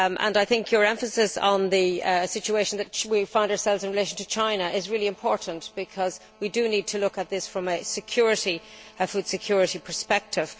I think your emphasis on the situation in which we find ourselves in relation to China is really important, because we do need to look at this from a food security perspective.